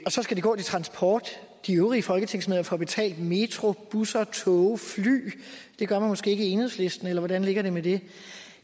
så skal det gå til transport de øvrige folketingsmedlemmer får betalt metro busser tog og fly det gør man måske ikke i enhedslisten eller hvordan ligger det med det